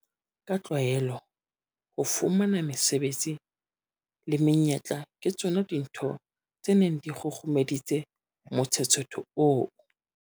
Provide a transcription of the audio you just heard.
Ka tlwaelo, ho fumana mesebetsi le menyetla ke tsona dintho tse neng di kgurumeditse motshetshetho oo.